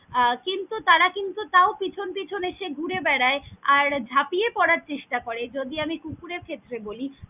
আহ কিন্তু তারা কিন্তু তাও পিছন পিছন এসে ঘুরে বেড়াই আর ঝাঁপিয়ে পড়ার চেষ্টা করে যদি আমি কুকুরের ক্ষেত্রে বলি।